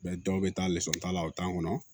Bɛɛ dɔw bɛ taa lisɔn ta o t'a kɔnɔ